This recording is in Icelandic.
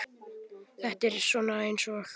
Þetta er svona eins og.